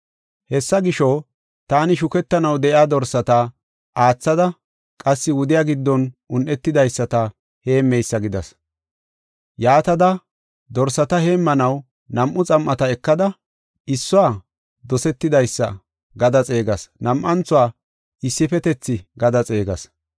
Hessa gisho, taani shukettanaw de7iya dorsata, aathada qassi wudiya giddon un7etidaysata heemmeysa gidas. Yaatada dorsata heemmanaw nam7u xam7ata ekada, issuwa “Dosetidaysa” gada xeegas; nam7anthuwa “Issifetethi” gada xeegas.